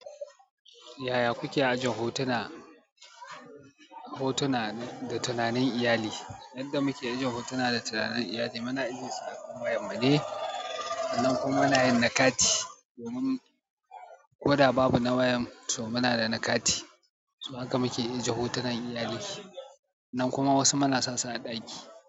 Yaya kuke ajin hotuna, hotuna da tunanin iyali? Yadda muke ajin hotuna da tunanin iyali, muna ajesu a kan wayan mu ne, nan kuma muna yin na kati domin koda babu na wayan to muna da na kati to haka muke aje hotunan iyali nan kuma wasu mana sa su a ɗaki.